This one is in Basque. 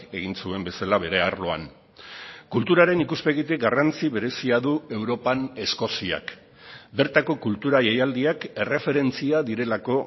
egin zuen bezala bere arloan kulturaren ikuspegitik garrantzi berezia du europan eskoziak bertako kultura jaialdiak erreferentzia direlako